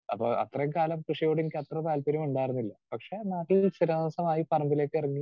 Speaker 2 അപ്പോ അത്രയും കാലം കൃഷിയോട് എനിക്ക് അത്ര താൽപര്യമുണ്ടായിരുന്നില്ല. പക്ഷേ നാട്ടിൽ സ്ഥിരതാമസമായി പറമ്പിലേക്കിറങ്ങി